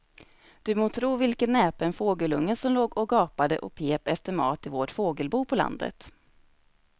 Du må tro vilken näpen fågelunge som låg och gapade och pep efter mat i vårt fågelbo på landet.